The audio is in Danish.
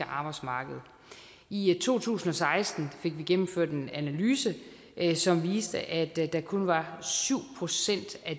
arbejdsmarked i to tusind og seksten fik vi gennemført en analyse som viste at der kun var syv procent af